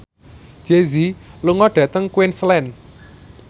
Jay Z lunga dhateng Queensland